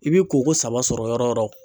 I bi koko saba sɔrɔ yɔrɔ o yɔrɔ